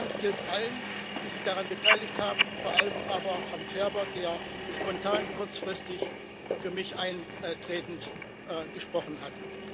Mein Dank gilt allen, die sich daran beteiligt haben, vor allem aber Herrn Ferber, der spontan kurzfristig für mich eintretend gesprochen hat.